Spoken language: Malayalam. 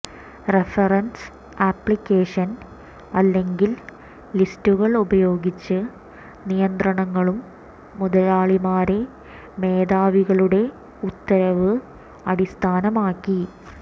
റഫറൻസ് ആപ്ലിക്കേഷൻ അല്ലെങ്കിൽ ലിസ്റ്റുകൾ ഉപയോഗിച്ച് നിയന്ത്രണങ്ങളും മുതലാളിമാരെ മേധാവികളുടെ ഉത്തരവ് അടിസ്ഥാനമാക്കി